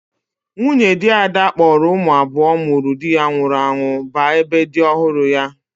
Nwunye di Ada kpọrọ ụmụ abuo ụmụrụ di ya nwụrụ anwụ ba ebe di ọhụrụ ya.